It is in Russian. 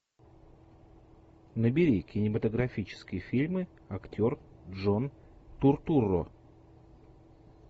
набери кинематографические фильмы актер джон туртурро